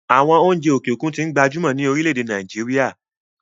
àwọn oúnjẹ òkè òkun tí ń gbajúmọ̀ ní orílẹ-èdè nàìjíría